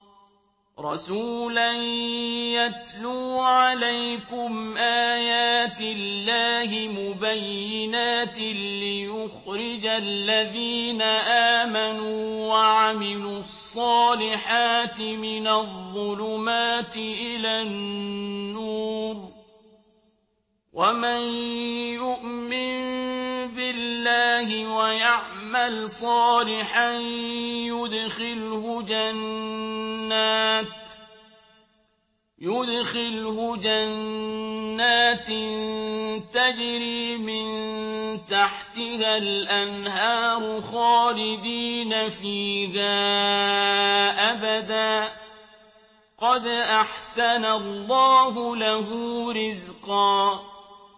رَّسُولًا يَتْلُو عَلَيْكُمْ آيَاتِ اللَّهِ مُبَيِّنَاتٍ لِّيُخْرِجَ الَّذِينَ آمَنُوا وَعَمِلُوا الصَّالِحَاتِ مِنَ الظُّلُمَاتِ إِلَى النُّورِ ۚ وَمَن يُؤْمِن بِاللَّهِ وَيَعْمَلْ صَالِحًا يُدْخِلْهُ جَنَّاتٍ تَجْرِي مِن تَحْتِهَا الْأَنْهَارُ خَالِدِينَ فِيهَا أَبَدًا ۖ قَدْ أَحْسَنَ اللَّهُ لَهُ رِزْقًا